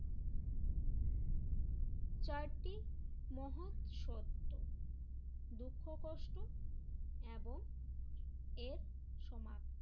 চারটি মহৎ সত্য দুঃখ কষ্ট এবং এর সমান